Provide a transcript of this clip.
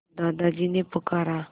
दादाजी ने पुकारा